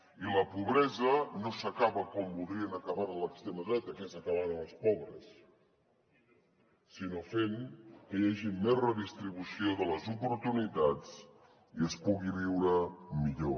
i la pobresa no s’acaba com voldrien acabar la l’extrema dreta que és acabant amb els pobres sinó fent que hi hagi més redistribució de les oportunitats i es pugui viure millor